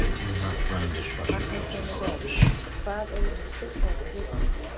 Magnús Hlynur Hreiðarsson: Hvað eru uppáhalds litirnir þínir?